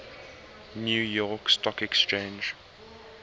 new york stock exchange